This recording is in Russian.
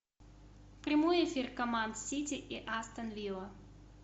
прямой эфир команд сити и астон вилла